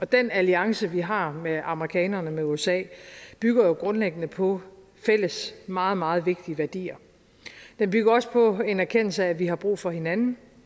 den alliance vi har med amerikanerne med usa bygger jo grundlæggende på fælles meget meget vigtige værdier den bygger også på en erkendelse af at vi har brug for hinanden